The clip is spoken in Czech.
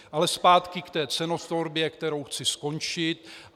Ale zpátky k té cenotvorbě, kterou chci skončit.